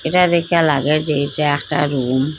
এইটা দেইখ্যা লাগে যে এইচা একটা রুম ।